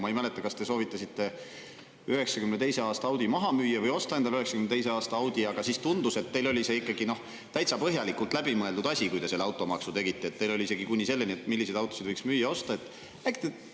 Ma ei mäleta, kas te soovitasite 1992. aasta Audi maha müüa või osta endale 1992. aasta Audi, aga siis tundus, et teil oli see ikkagi täitsa põhjalikult läbi mõeldud asi, kui te selle automaksu tegite, teil oli isegi kuni selleni, et milliseid autosid võiks müüa-osta.